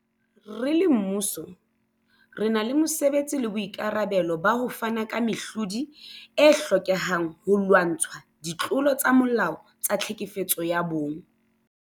Re le mmuso, re na le mosebetsi le boikarabelo ba ho fana ka mehlodi e hlokehang holwantshwa ditlolo tsa molao tsa tlhekefetso ya bong.